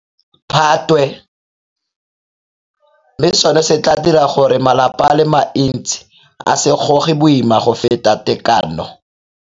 Phatwe, mme seno se tla dira gore malapa a le mantsi a se goge boima go feta tekano.